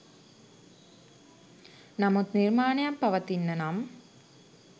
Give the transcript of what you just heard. නමුත් නිර්මාණයක් පවතින්න නම්